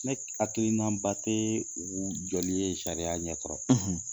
Ne hakilinaba tɛ u joli ye sariya ɲɛ kɔrɔ.